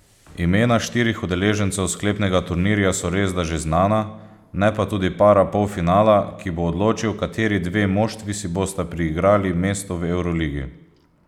Imena štirih udeležencev sklepnega turnirja so resda že znana, ne pa tudi para polfinala, ki bo odločil, kateri dve moštvi si bosta priigrali mesto v evroligi.